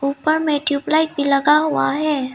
ऊपर में ट्यूबलाइट भी लगा हुआ है।